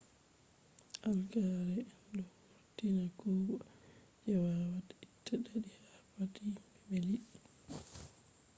algae en ɗo vurtina guuɓa je wawata itta ɗaɗi ha pat himɓe be liɗɗi